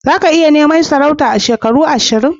Za ka iya neman mukamin sarauta a shekara ashirin?